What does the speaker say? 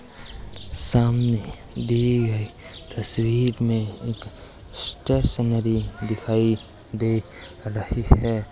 सामने दी गई तस्वीर में एक स्टेशनरी दिखाई दे रही है।